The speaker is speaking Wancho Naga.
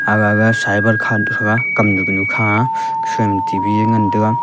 aga ga cyber kha nu thaga kamnu ganu kha aa gasoima T_V ee ngantaga.